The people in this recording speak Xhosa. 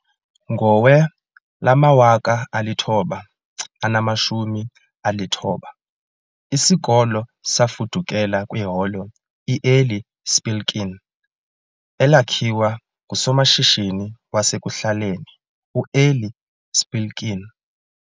Ngowe-1994, isikolo safudukela kwiHolo i-Eli Spilkin, elakhiwa ngusomashishini wasekuhlaleni u-Eli Spilkin.